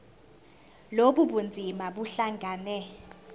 lobu bunzima buhlangane